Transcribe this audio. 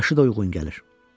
Yaşı da uyğun gəlir.